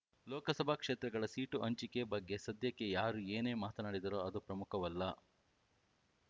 ಲೋಕಸಭಾ ಕ್ಷೇತ್ರಗಳ ಸೀಟು ಹಂಚಿಕೆ ಬಗ್ಗೆ ಸದ್ಯಕ್ಕೆ ಯಾರು ಏನೇ ಮಾತನಾಡಿದರೂ ಅದು ಪ್ರಮುಖವಲ್ಲ